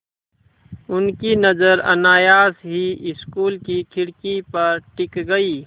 उनकी नज़र अनायास ही स्कूल की खिड़की पर टिक गई